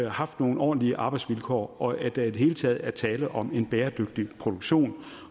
haft nogle ordentlige arbejdsvilkår og at der i det hele taget er tale om en bæredygtig produktion